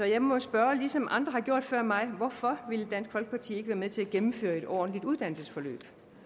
jeg må spørge ligesom andre har gjort før mig hvorfor vil dansk folkeparti ikke være med til at gennemføre et ordentligt uddannelsesforløb